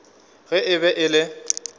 ge e be e le